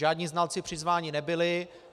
Žádní znalci přizváni nebyli.